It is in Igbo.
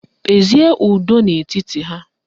Kpezie ụdọ n'etiti ha!